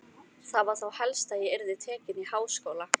Það var þá helst að ég yrði tekin í háskóla!